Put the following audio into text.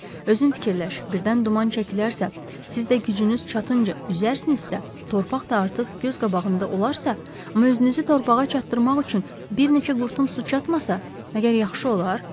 Özün fikirləş, birdən duman çəkilərsə, siz də gücünüz çatınca üzərsinizsə, torpaq da artıq göz qabağında olarsa, amma özünüzü torpağa çatdırmaq üçün bir neçə qurtum su çatmasa, məgər yaxşı olar?